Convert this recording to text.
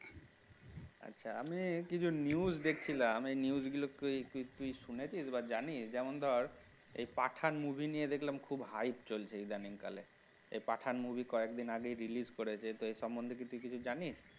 আছা আমি কিছু news দেখছিলাম এই news গুলো কি তুই শুনেছিস বা জানিস যেমন ধর এই পাঠান movie নিয়ে দেখলাম খুব hike চলছে ইদানিংকালে এ পাঠান movie কয়েকদিন আগে release করেছে তাই সম্বন্ধিত কি কিছু জানিস